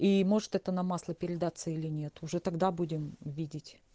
и может это нам масло передаться или нет уже тогда будем видеть